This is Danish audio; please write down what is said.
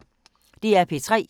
DR P3